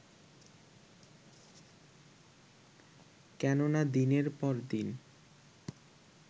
কেননা দিনের পর দিন